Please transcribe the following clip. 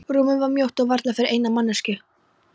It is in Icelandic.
Rúmið var mjótt og varla fyrir eina manneskju.